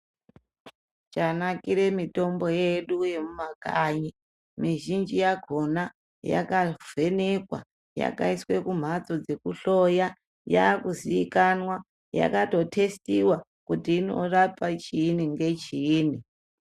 Chanakire mitombo yedu yemumakanyi mwizhinji yakona yakavhenekwa, yakaiswe kumhatso dzekuhloya yakuziikanwa yakatotestiwa kuti inorapa chiini nechiini .